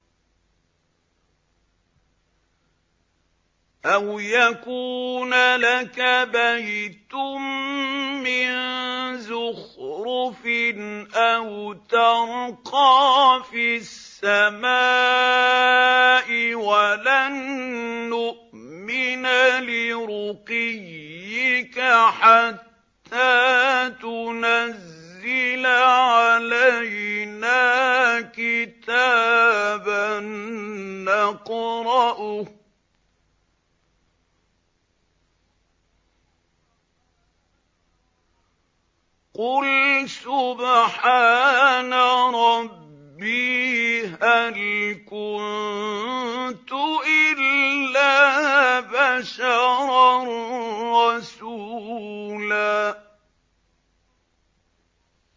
أَوْ يَكُونَ لَكَ بَيْتٌ مِّن زُخْرُفٍ أَوْ تَرْقَىٰ فِي السَّمَاءِ وَلَن نُّؤْمِنَ لِرُقِيِّكَ حَتَّىٰ تُنَزِّلَ عَلَيْنَا كِتَابًا نَّقْرَؤُهُ ۗ قُلْ سُبْحَانَ رَبِّي هَلْ كُنتُ إِلَّا بَشَرًا رَّسُولًا